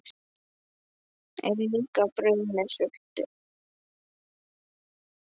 Er líka brauð með sultu?